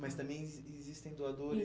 Mas também exis existem doadores? Isso